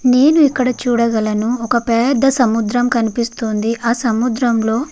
నేను ఇక్కడ చూడగలను ఒక పెద్ద సముద్రం కనిపిస్తోంది. ఆ సముద్రములో --